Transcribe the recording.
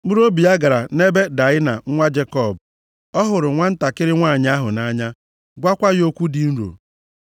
Mkpụrụobi ya gara nʼebe Daịna nwa Jekọb, ọ hụrụ nwantakịrị nwanyị ahụ nʼanya, gwakwa ya okwu dị nro.